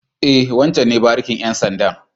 E, wancen ne barikin ƴan sandan.